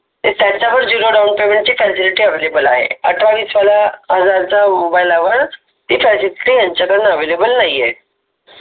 त्यांच्याकडे zero down payment facility available आहे अठरा वीस हजाराच्या मोबाइल वर ते त्यांच्याकडे अव्हेलेबल नाही आहे.